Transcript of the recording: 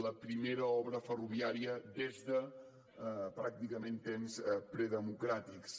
la primera obra ferroviària des de pràcticament temps predemocràtics